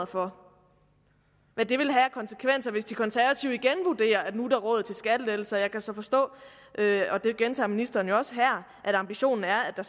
for hvad det vil have af konsekvenser hvis de konservative igen vurderer at nu er der råd til skattelettelser jeg kan så forstå og det gentager ministeren også her at ambitionen er at der